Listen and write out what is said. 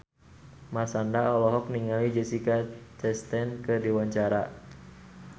Marshanda olohok ningali Jessica Chastain keur diwawancara